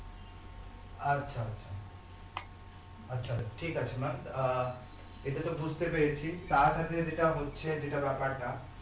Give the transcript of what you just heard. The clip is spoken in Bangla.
আচ্ছা আচ্ছা আচ্ছা ঠিক আছে maam আহ এটাতো বুঝতে পেরেছি তার সাথে যেটা হচ্ছে যেটা ব্যাপার না